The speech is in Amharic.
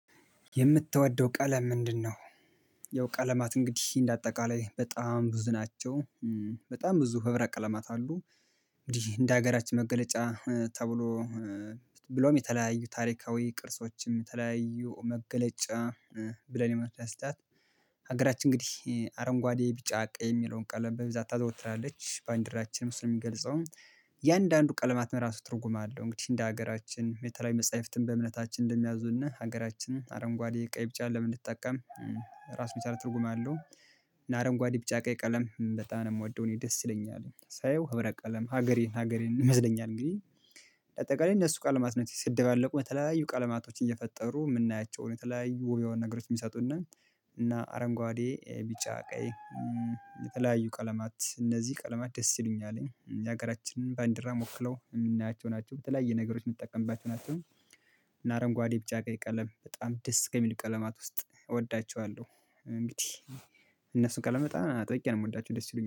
የምትወደው ቀለም ምንድነው? ያው ቀለማት እንግዲህ እንደ አጠቃላይ በጣም ብዙ ናቸው በጣም ብዙ ህብረ ቀለማት አሉ። እንደ ሀገራችን መገለጫ ተብሎ ብሎም የተለያዩ ታሪካዊ ቅርሶችም የተለያዩ መገለጫ ብለን የመስራት ስጣት ሀገራችን እንግዲህ አረንጓዴ ቢጫ ቀይ የሚለውን ቀለም በብዛት ታዘውትራለች ባንዲራችንም እሱን የሚገልጸውም የአንዳንዱ ቀለማት የራሱ ትርጉም አለው። እንግዲህ እንደ ሀገራችን የተለያዩ መጽሐፍትን በእምነታችን እንደሚያዙና ሀገራችን አረንጓዴ ቀይ ብጫ ለምን እንድትጠቀም ራስ የቻል ትርጉም አለው። እና አረንጓዴ ቢጫ ቀይ ቀለም በጣም ነው የምወደው። እኔ ደስ ይለኛል ሳየው ህብረ ቀለም ሀገሬን ሀገሬን ይመስለኛል እንግዲህ በአጠቃላይ እነሱ ቀለማት ነው ሲሰደባለቁ በተለያዩ ቀለማቶች እየፈጠሩ የምናያቸውን የተለያዩ የሆኑ ነገሮች የሚሰጡን ነው እና አረንጓዴ ቢጫ ቀይ የተለያዩ ቀለማት እነዚህ ቀለማት ደስ ይሉኛል የሀገራችንን በባንዲራም ወክለው የምናያቸው ናቸው። በተለያየ ነገሮች የምትጠቀምባቸው ናቸው እና አረንጓዴ ብቻ ቀለም በጣም ደስ ከሚል ቀለማት ውስጥ እወዳቸዋለሁ እነሱን ቀለማት አጥብቄ ነው የምወዳቸው ደስ ይሉኛል።